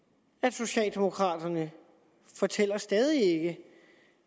socialdemokraterne fortæller stadig ikke